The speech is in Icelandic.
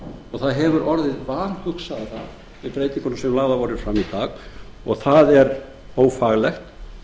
og það hefur orðið vanhugsaðra með breytingunum sem lagðar voru fram í dag og það er ófaglegt